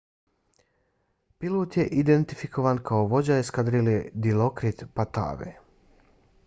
pilot je identifikovan kao vođa eskadrile dilokrit pattavee